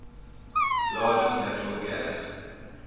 largest natural gas